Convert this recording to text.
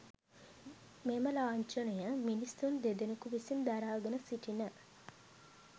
මෙම ලාංඡනය මිනිසුන් දෙදෙනකු විසින් දරාගෙන සිටින